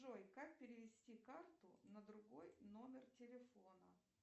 джой как перевести карту на другой номер телефона